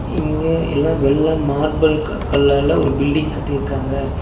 இங்க எல்லா வெள்ள மார்பிள்க்கு கல்லால ஒரு பில்டிங் கட்டிருகாங்க.